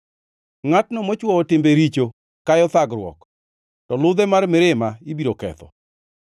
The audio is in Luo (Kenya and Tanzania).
Ngʼatno mochwowo timbe richo kayo thagruok, to ludhe mar mirima ibiro ketho.